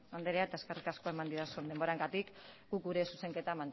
andrea eta eskerrik asko eman didazun denboragatik guk gure zuzenketa